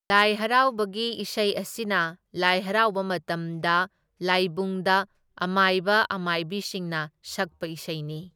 ꯂꯥꯏ ꯍꯔꯥꯎꯕꯒꯤ ꯏꯁꯩ ꯑꯁꯤꯅ ꯂꯥꯏ ꯍꯔꯥꯎꯕ ꯃꯇꯝꯗ ꯂꯥꯏꯕꯨꯡꯗ ꯑꯃꯥꯏꯕ ꯑꯃꯥꯏꯕꯤꯁꯤꯡꯅ ꯁꯛꯄ ꯏꯁꯩꯅꯤ꯫